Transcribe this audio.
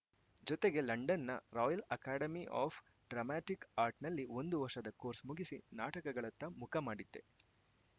ಜತೆಗೆ ಲಂಡನ್‌ನ Royal Academy of Dramatic ಆರ್ಟ್‌ನಲ್ಲಿ ಒಂದು ವರ್ಷದ ಕೋರ್ಸ್‌ ಮುಗಿಸಿ ನಾಟಕಗಳತ್ತ ಮುಖ ಮಾಡಿದ್ದೆ